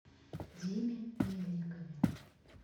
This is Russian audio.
диме мельникове